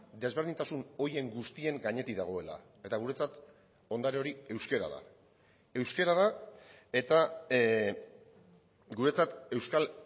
desberdintasun horien guztien gainetik dagoela eta guretzat ondare hori euskara da euskara da eta guretzat euskal